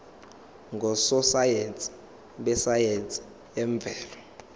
ngososayense besayense yemvelo